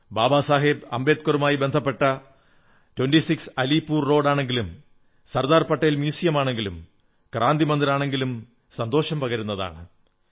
ബാബാ സാഹേബ് അംബേദ്കറുമായി ബന്ധപ്പെട്ട 26 അലീപൂർ റോഡ് ആണെങ്കിലും സർദാർ പട്ടേൽ മ്യൂസിയമാണെങ്കിലും ക്രാന്തി മന്ദിർ ആണെങ്കിലും സന്തോഷം പകരുന്നതാണ്